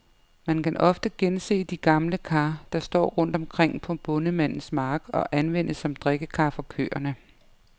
Man kan ofte gense de gamle kar, der står rundt omkring på bondemandens mark, og anvendes som drikkekar for køerne.